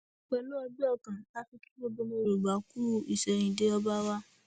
pẹlú ọgbẹ ọkàn la fi kí gbogbo ọmọ yorùbá kú ìsẹyìndẹ ọba wa